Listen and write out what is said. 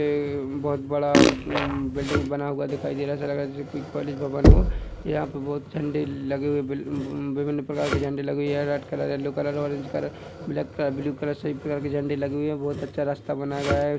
ये बहुत बड़ा अ हं.. बिल्डिंग बना हुआ दिखाई दे रहा है ऐसा लग रहा है जैसे कोई कॉलेज भवन हो यहाँ पर बहुत झंडे लगे हुए वि- विभिन्न प्रकार के झंडे लगे है यह red colour yellow colour orange colour black colour blue colour सभी कलर के झंडे लगे हुए है बहोत अच्छा रस्ता बनाया गया है।